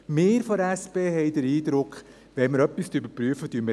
Wir von der SP haben den Eindruck, dass wir alles in diesen Topf nehmen.